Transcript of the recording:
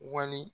Wali